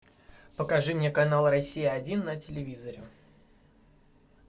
покажи мне канал россия один на телевизоре